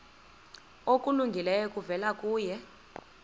okulungileyo kuvela kuye